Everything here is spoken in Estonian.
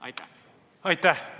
Aitäh!